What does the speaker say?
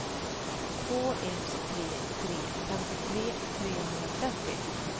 två ett tre tre femtiotre trehundratrettio